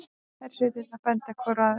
Hersveitirnar benda hvor á aðra